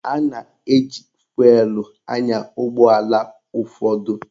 A na-eji fụelụ anya ụgbọala ụfọdụ